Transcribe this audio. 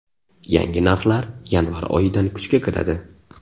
Yangi narxlar yanvar oyidan kuchga kiradi.